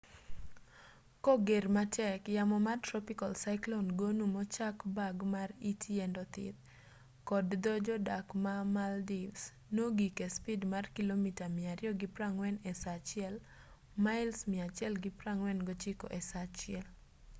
koger matek yamo mar tropical cyclone gonu mochak bag mar it yiend othith kod dho jodak ma maldives nogik espid mar kilomita 240 e saa achiel. mails 149 e saa achiel